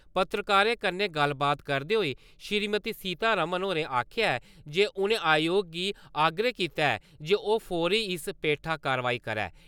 पत्रकारें कन्नै गल्लबात करदे होई श्रीमती सीता रमण होरें आक्खेआ जे उनें आयोग गी आग्रह कीता ऐ जे ओह् फौह्‌री इस पैठा कार्यवाई करै।